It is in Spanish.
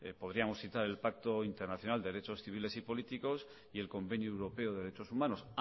podríamos citar el pacto internacional de derechos civiles y políticos y el convenio europeode derechos humanos